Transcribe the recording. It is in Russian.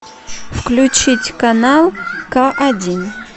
включить канал ка один